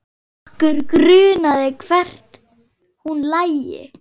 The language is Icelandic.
Okkur grunaði hvert hún lægi.